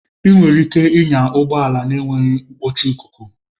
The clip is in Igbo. Ị nwere ike ịnya ụgbọ ala na-enweghị nkpuchi ikuku.